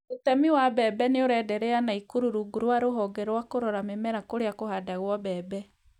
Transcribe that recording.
ũtemi wa mbebe nĩũrenderea Nakuru rungu rwa rũhonge rwa kũrora mĩmera kũrĩa kũhandagwo mbembe